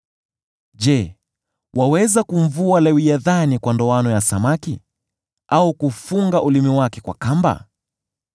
“Je, waweza kumvua Lewiathani kwa ndoano ya samaki, au kufunga ulimi wake kwa kamba?